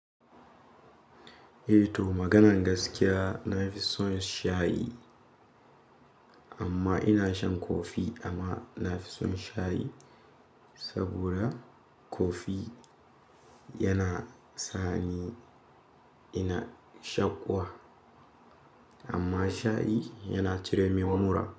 Eh to maganan gaskiya nafi son shayi amma ina shan kofi amma nafi son shayi saboda kofi yana sani ina shaƙuwa amma shayi yana cire min mura.